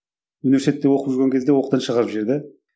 университетте оқып жүрген кезде оқудан шығарып жіберді